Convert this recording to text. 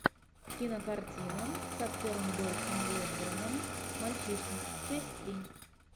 кинокартина с актером дольфом лундгреном мальчишник часть три